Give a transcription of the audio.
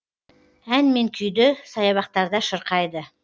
ән мен күйді саябақтарда шырқайды